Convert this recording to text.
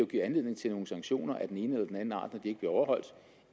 give anledning til nogle sanktioner af den ene eller anden art når ikke bliver overholdt